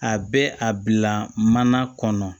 A bɛ a bila mana kɔnɔ